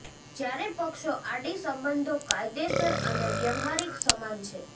જ્યારે પક્ષો આડી સંબંધો કાયદેસર અને વ્યવહારીક સમાન છે